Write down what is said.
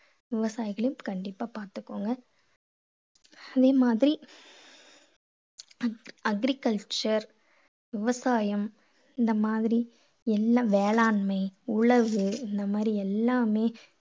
விவசாயிகளையும் கண்டிப்பா பார்த்துக்கோங்க. இதே மாதிரி agriculture விவசாயம் இந்த மாதிரி எல்லாம் வேளாண்மை உழவு இந்த மாதிரி எல்லாமே